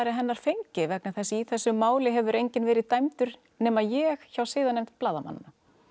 hennar fengi vegna þess að í þessu máli hefur enginn verið dæmdur nema ég hjá siðanefnd blaðamanna